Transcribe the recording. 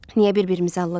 Niyə bir-birimizi alldayaq?